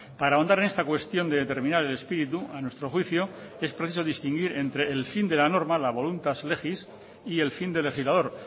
para ahondar en esta cuestión de determinar el espíritu a nuestro juicio es preciso distinguir entre el fin de la norma la voluntas legis y el fin del legislador